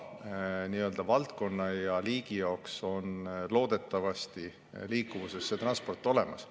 Iga valdkonna ja liigi jaoks on loodetavasti liikluses transport olemas.